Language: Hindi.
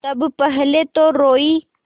तब पहले तो रोयी